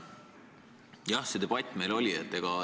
Jah, selline debatt meil oli.